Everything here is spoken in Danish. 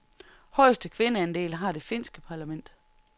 Højeste kvindeandel har det finske parlament.